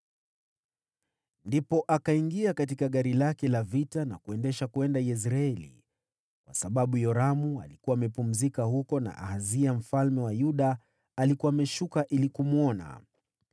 Ndipo Yehu akaingia katika gari lake la vita na kuendesha kwenda Yezreeli, kwa sababu Yoramu alikuwa amepumzika huko, na Ahazia mfalme wa Yuda alikuwa ameenda kumwona.